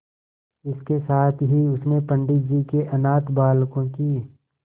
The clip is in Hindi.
इसके साथ ही उसने पंडित जी के अनाथ बालकों की